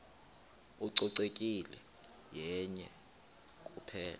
ucoceko yenye kuphela